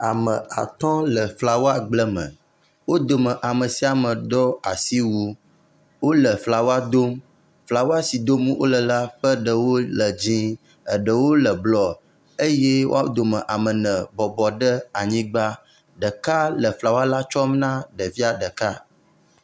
Ame atɔ le flawagbleme. Wo dome ame sia mae ɖɔ asi wui wo le flaw dom. Flawa si dom wo le la ƒe ɖewo le dzie, eɖewo le blɔeye woa dome ame ebne bɔbɔ ɖe anyigba. Ɖeka le flawa la tsɔm na ɖevia ɖeka.